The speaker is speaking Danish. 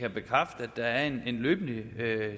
er alle